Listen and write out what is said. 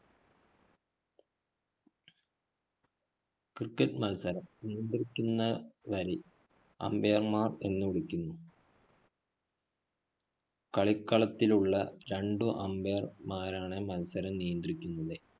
cricket മത്സരം നിയന്ത്രിക്കുന്നവരില്‍ umpire മാർ എന്ന് വിളിക്കുന്നു. കളികളത്തിലുള്ള രണ്ട് umpire മാരാണ് മത്സരം നിയന്ത്രിക്കുന്നത്.